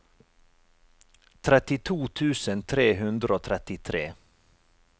trettito tusen tre hundre og trettitre